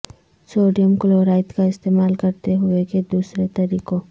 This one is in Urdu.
سوڈیم کلورائد کا استعمال کرتے ہوئے کے دوسرے طریقوں